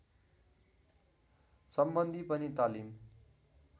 सम्बन्धी पनि तालिम